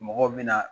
Mɔgɔw bɛna